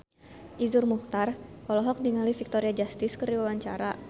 Iszur Muchtar olohok ningali Victoria Justice keur diwawancara